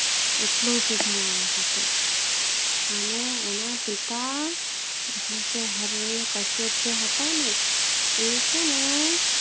એટલો સીધો માણસ હતો અને એના પિતા ને હરિયા કશ્યપે જે હતા એ છેને